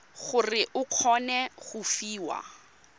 gore o kgone go fiwa